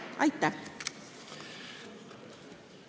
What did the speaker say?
Aitäh!